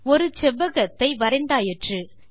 ஒரு செவ்வகத்தை வரைந்தாயிற்று